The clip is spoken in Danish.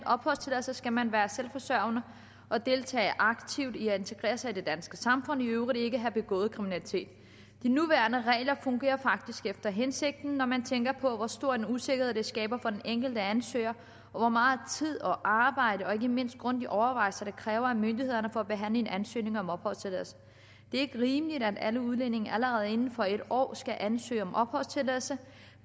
opholdstilladelse skal man være selvforsørgende og deltage aktivt i at integrere sig i det danske samfund og i øvrigt ikke have begået kriminalitet de nuværende regler fungerer faktisk efter hensigten når man tænker på hvor stor en usikkerhed det skaber for den enkelte ansøger og hvor meget tid og arbejde og ikke mindst grundige overvejelser det kræver af myndighederne for at behandle en ansøgning om opholdstilladelse det er ikke rimeligt at alle udlændinge allerede inden for en år skal ansøge om opholdstilladelse